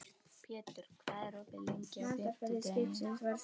Pétur, hvað er opið lengi á fimmtudaginn?